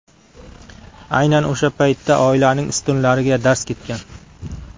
Aynan o‘sha paytda oilaning ustunlariga darz ketgan.